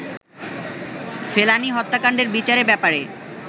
ফেলানি হত্যাকান্ডের বিচারের ব্যাপারে